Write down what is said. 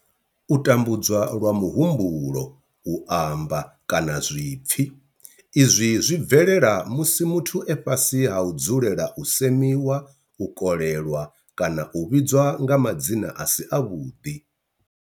U tambudzwa lwa muhumbulo, u amba, kana zwipfi, Izwi zwi bvelela musi muthu e fhasi ha u dzulela u semiwa, u kolelwa kana u vhidzwa nga madzina a si avhuḓi.